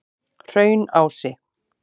Hraunási